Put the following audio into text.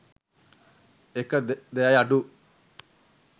එක දෙයයි අඩු.